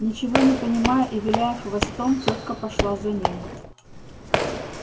ничего не понимая и виляя хвостом тётка пошла за ним